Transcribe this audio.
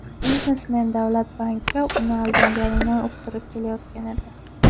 Biznesmen davlat banki uni aldaganini uqtirib kelayotgan edi.